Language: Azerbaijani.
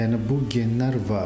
Yəni bu genlər var.